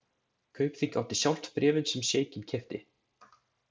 Kaupþing átti sjálft bréfin sem sjeikinn keypti.